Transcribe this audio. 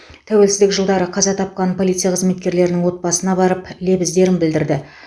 тәуелсіздік жылдары қаза тапқан полиция қызметкерлерінің отбасына барып лебіздерін білдірді